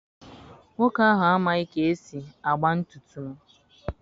Nwoke ahụ amaghị ka esi agba ntutu m.